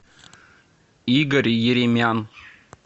игорь еремян